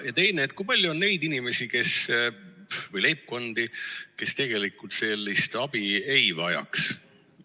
Ja teiseks, kui palju on neid inimesi või leibkondi, kes tegelikult sellist abi ei vajaks?